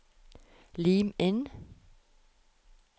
Lim inn